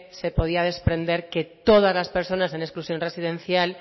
se podía desprender que todas las personas en exclusión residencial